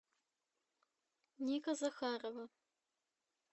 ника захарова